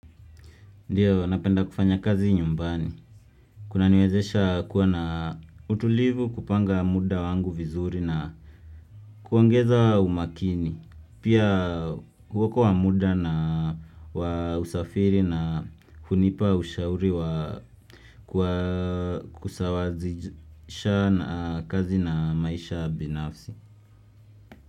Ndiyo, napenda kufanya kazi nyumbani. Kuna niwezesha kuwa na utulivu kupanga muda wangu vizuri na kuongeza umakini. Pia kuokoa muda na wa usafiri na hunipa ushauri kusawazisha na kazi na maisha binafsi.